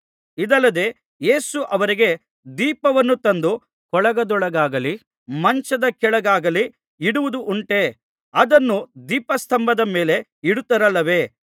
ಇದಲ್ಲದೆ ಯೇಸು ಅವರಿಗೆ ದೀಪವನ್ನು ತಂದು ಕೊಳಗದೊಳಗಾಗಲಿ ಮಂಚದ ಕೆಳಗಾಗಲಿ ಇಡುವುದುಂಟೇ ಅದನ್ನು ದೀಪಸ್ತಂಭದ ಮೇಲೆ ಇಡುತ್ತಾರಲ್ಲವೇ